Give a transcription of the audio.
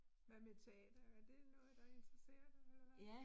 Hvad med teater, er det noget, der interesserer dig eller hvad?